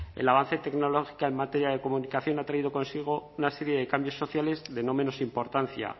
el avance tecnológico en materia de comunicación ha traído consigo una serie de cambios sociales de no menos importancia